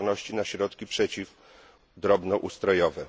odporności na środki przeciw drobnoustrojowe